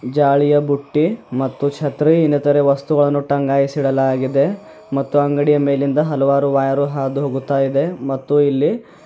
ಜಾಳಿಯ ಬುಟ್ಟಿ ಮತ್ತು ಛತ್ರಿ ಇನ್ನೆತರೆ ವಸ್ತುಗಳನ್ನು ಟಂಗಾಯಿಸಿ ಇಡಲಾಗಿದೆ ಮತ್ತು ಅಂಗಡಿಯ ಮೇಲಿಂದ ಹಲವಾರು ವೈರ್ ಹಾದು ಹೋಗುತ್ತ ಇದೆ ಮತ್ತು ಇಲ್ಲಿ --